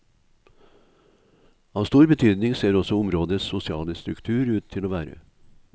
Av stor betydning ser også områdets sosiale struktur ut til å være.